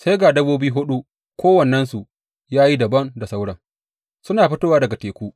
Sai ga dabbobi huɗu, kowannensu ya yi dabam da sauran, suna fitowa daga teku.